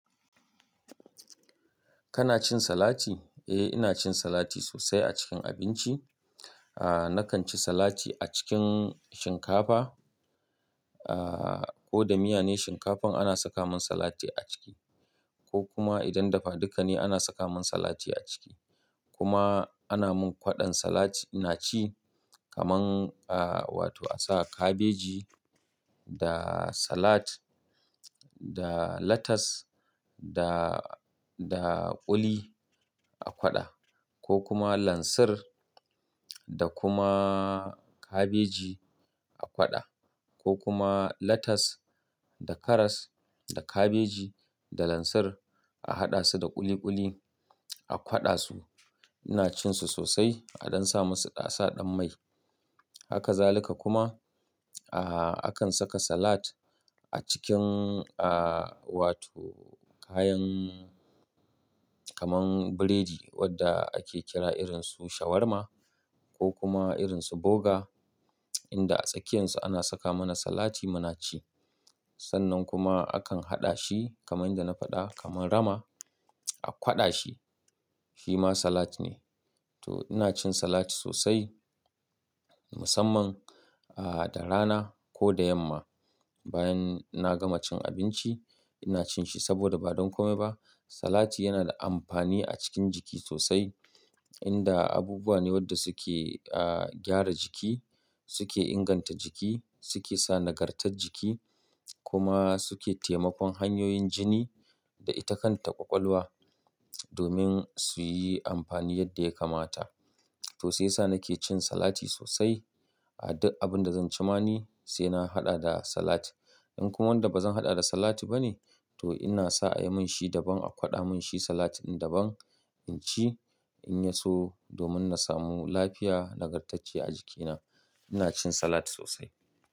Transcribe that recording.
Kana cin salati? Eh, ina cin salati sosai a cikin abinci. Ahh, nakan ci salati a cikin shinkafa ahh, ko da miya ne shinkafan ana saka min salati a ciki ko kuma idan dafaduka ne ana saka min salati a ciki. Kuma ana min kwaɗon salat ina ci kamar ahh wato a saka kabeji da salat da latas da, da kuli a kwaɗa ko kuma lansir da kuma kabeji a kwaɗa ko kuma latas da karas da kabeji da lansir a haɗa su da ƙuli ƙuli a kwaɗa su. Ina cin su sosai a dan sa musu ɗasa ɗan mai. Haka zalika kuma ahh, akan saka salat a cikin ahh wato kayan kamar biredi wadda ake kira irinsu shawarma ko kuma irinsu boga inda a tsakiyansu ana saka mana salati muna ci. Sannan kuma akan haɗa shi kamar yadda na faɗa kamar rama a kwaɗa shi shi ma salat ne. To ina cin salati sosai musamman ahh, da rana ko da yamma bayan na gama cin abinci ina cin shi saboda ba don kome ba salati yana da amfani a cikin jiki sosai inda abubuwa ne wadda suke ahh, gyara jiki suke inganta jiki suke sa nagartar jiki kuma suke taimakon hanyoyin jini da ita kanta ƙwalwa domin suyi amfani yadda ya kamata. To sai sa nake cin salati sosai. A duk abin da zan ci ma ni sai na haɗa da salat. In kuma wanda bazan haɗa da salat ba ne to ina sa a yi min shi daban a kwaɗa mun shi salatin daban in ci in ya so domin na samu lafiya nagartacce a jikina. Ina cin salati sosai.